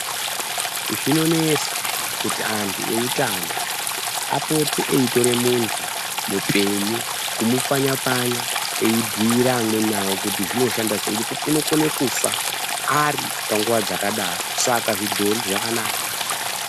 Zvinonesa kuti antu eutano kuti apote eitore muntu mupenyu kumupfanaya pfanya eibhire amweni awo kuti zvinoshanda senge kuti unokone kufa aripanguwa dzakadaro Saka dzidhori zvakanaka.